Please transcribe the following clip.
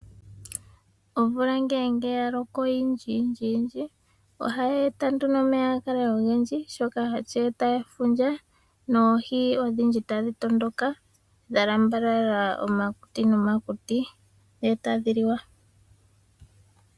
Omvula ngele ya loko oyindji yindji, ohayi eta nduno omeya ga kale ogendji shono hashi eta efundja noohi odhindji tadhi tondoka dha lambalala omakuti nomakuti, e tadhi liwa.